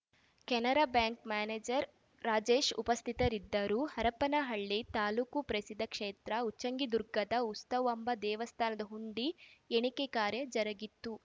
Canara bank manager Rajesh ಉಪಸ್ಥಿತರಿದ್ದರು ಹರಪನಹಳ್ಳಿ ತಾಲ್ಲೂಕು ಪ್ರಸಿದ್ಧ ಕ್ಷೇತ್ರ ಉಚ್ಚಂಗಿದುರ್ಗದ ಉತ್ಸವಾಂಬ ದೇವಸ್ಥಾನದ ಹುಂಡಿ ಎಣಿಕೆ ಕಾರ್ಯ ಜರುಗಿತು